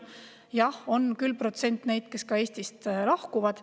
Jah, on küll protsent neid, kes Eestist lahkuvad.